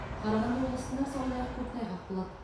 қарағанды облысында сондай ақ көктайғақ болады